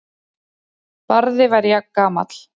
Barði var jafngamall